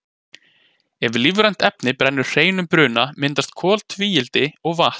ef lífrænt efni brennur hreinum bruna myndast koltvíildi og vatn